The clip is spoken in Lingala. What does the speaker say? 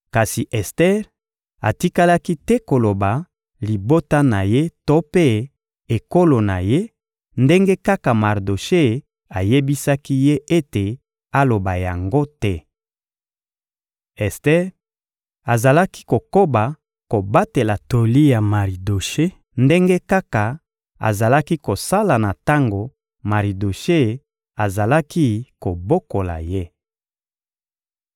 Kasi Ester atikalaki te koloba libota na ye to mpe ekolo na ye, ndenge kaka Maridoshe ayebisaki ye ete aloba yango te. Ester azalaki kokoba kobatela toli ya Maridoshe, ndenge kaka azalaki kosala na tango Maridoshe azalaki kobokola ye.